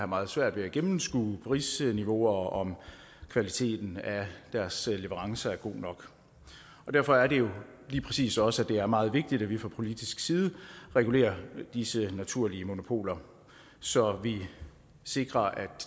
meget svært ved at gennemskue prisniveauer og om kvaliteten af deres leverance er god nok derfor er det jo lige præcis også at det er meget vigtigt at vi fra politisk side regulerer disse naturlige monopoler så vi sikrer at